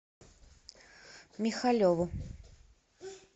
михалеву